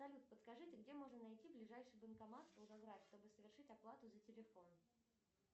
салют подскажите где можно найти ближайший банкомат волгоград чтобы совершить оплату за телефон